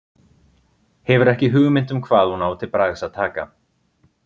Hefur ekki hugmynd um hvað hún á til bragðs að taka.